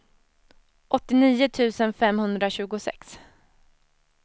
åttionio tusen femhundratjugosex